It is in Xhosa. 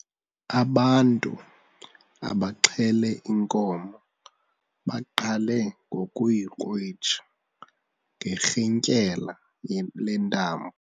Ubantu abaxhele inkomo baqale ngokuyikrwitsha ngerhintyela lentambo.